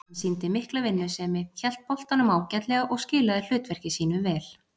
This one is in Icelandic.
Hann sýndi mikla vinnusemi, hélt boltanum ágætlega og skilaði hlutverki sínu vel.